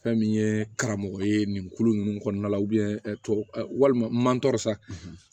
Fɛn min ye karamɔgɔ ye nin kulo nunnu kɔnɔna la walima